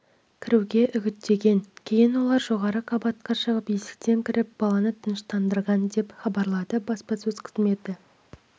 кіруге үгіттеген кейін олар жоғары қабатқа шығып есіктен кіріп баланы тыныштандырған деп хабарлады баспасөз қызметі